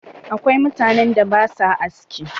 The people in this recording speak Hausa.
Akwai mutanen da ba sua aski.